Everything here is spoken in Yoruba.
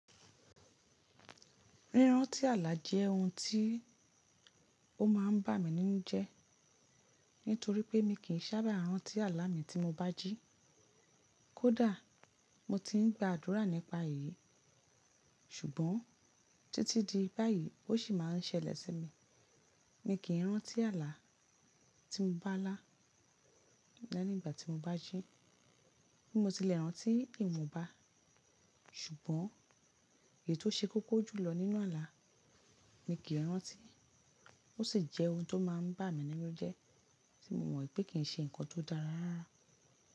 Rírantí àlà jẹ́ ohun tí ó máa ń bà mí nínu jẹ́, nítorí pé mi kì í sábà rántí àlà mi tí mo bá jí. Kódà mo ti ń gba àdúrà nípa èyí, ṣùgbọ́n títí di báyìí ó sì máa ń ṣẹlẹ̀ sí mi. Mi kì í rántí àlà tí mo bá lá nígbà tí mo bá jí. Bí mo tilẹ̀ rántí ìwọ̀nba, ṣùgbọ́n èyí tó ṣe kókó jù lọ nínú àlà mi kì í rántí. Ó sì jẹ́ ohun tó máa ń bà mí nínu jẹ́ tí mo mọ̀ pé kì í ṣe nǹkan tó dára rárá.